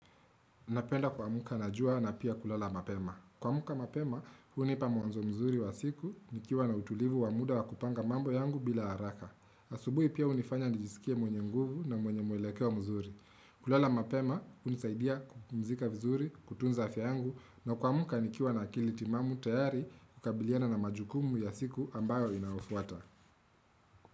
Napenda kuamka na jua na pia kulala mapema. Kuamka mapema, hunipa mwanzo mzuri wa siku, nikiwa na utulivu wa muda wa kupanga mambo yangu bila haraka. Asubuhi pia unifanya nijisikie mwenye nguvu na mwenye mwelekeo mzuri. Kulala mapema, hunisaidia kupumzika vizuri, kutunza afya yangu, na kuamka nikiwa na akili timamu tayari kukabiliana na majukumu ya siku ambayo inayofuata.